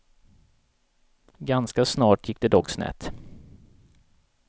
Ganska snart gick det dock snett.